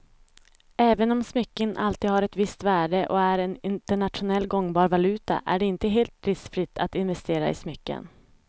Även om smycken alltid har ett visst värde och är en internationellt gångbar valuta är det inte helt riskfritt att investera i smycken.